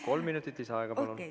Kolm minutit lisaaega, palun!